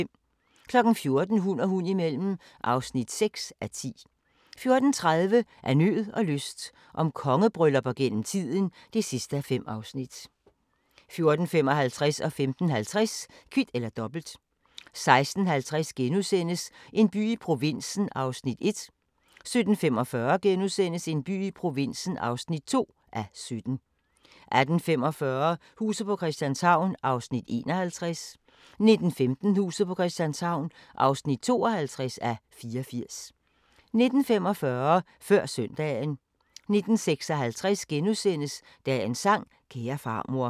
14:00: Hund og hund imellem (6:10) 14:30: Af nød og lyst – om kongebryllupper gennem tiden (5:5) 14:55: Kvit eller Dobbelt 15:50: Kvit eller Dobbelt 16:50: En by i provinsen (1:17)* 17:45: En by i provinsen (2:17)* 18:45: Huset på Christianshavn (51:84) 19:15: Huset på Christianshavn (52:84) 19:45: Før Søndagen 19:56: Dagens sang: Kære farmor *